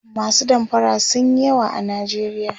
masu damfara sunyi yawa a nijeriya